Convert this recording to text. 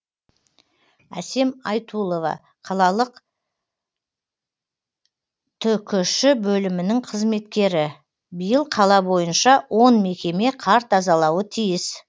әсем айтулова қалалық түкш бөлімінің қызметкері биыл қала бойынша он мекеме қар тазалауы тиіс